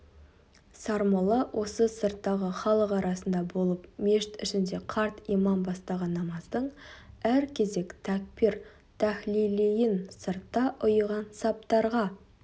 сармолла осы сырттағы халық арасында болып мешіт ішінде қарт имам бастаған намаздың әр кезек тәкбир-тәһлилиін сыртта ұйыған саптарға